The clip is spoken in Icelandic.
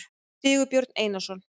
sigurbjörn einarsson